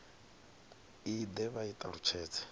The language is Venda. i de vha i talutshedze